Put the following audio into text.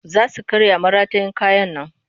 Za su karya maratayin kayan nan